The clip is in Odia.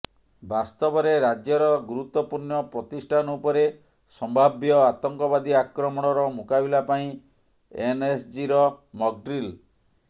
ବାସ୍ତବରେ ରାଜ୍ୟର ଗୁରୁତ୍ୱପୂର୍ଣ୍ଣ ପ୍ରତିଷ୍ଠାନ ଉପରେ ସମ୍ଭାବ୍ୟ ଆତଙ୍କବାଦୀ ଆକ୍ରମଣର ମୁକାବିଲା ପାଇଁ ଏନ୍ଏସ୍ଜିର ମକ୍ଡିଲ୍